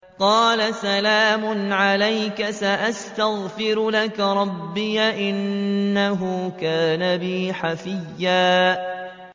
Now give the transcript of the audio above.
قَالَ سَلَامٌ عَلَيْكَ ۖ سَأَسْتَغْفِرُ لَكَ رَبِّي ۖ إِنَّهُ كَانَ بِي حَفِيًّا